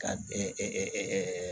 Ka